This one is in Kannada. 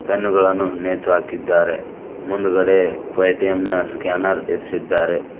ಪೆನ್ನು ಗಳನ್ನು ನೇತು ಹಾಕಿದ್ದಾರೆ ಮುಂದುಗಡೆ ಪೆಟಿಯಂ ನ ಸ್ಕ್ಯಾನರ್ ಇರಿಸಿದ್ದಾರೆ.